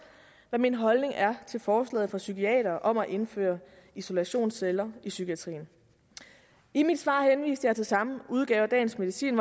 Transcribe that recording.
hvad min holdning er til forslaget fra psykiatere om at indføre isolationsceller i psykiatrien i mit svar henviste jeg til samme udgave af dagens medicin